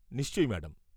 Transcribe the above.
নিশ্চয়ই ম্যাডাম।